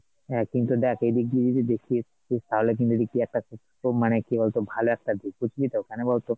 হ্যাঁ কিন্তু দেখ এইদিক দিয়ে যদি দেখিস, তো তাহলে কিন্তু এইদিক দিয়ে একটা মানে কি বলতো ভালো একটা দিক বুঝলি তো কেন বলতো ?